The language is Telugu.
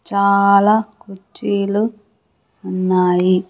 చాలా కుర్చీలు ఉన్నాయి.